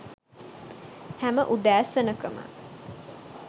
හැම උදෑසනක ම